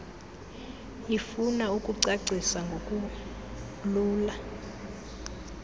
ifuna ukucacisa ngokulula